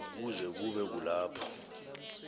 kuze kube kulapho